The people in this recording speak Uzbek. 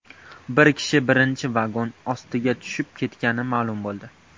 Bir kishi birinchi vagon ostiga tushib ketgani ma’lum bo‘ldi.